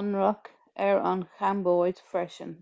ionradh ar an chambóid freisin